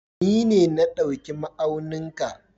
Ni ne na ɗauki ma'aunin ka.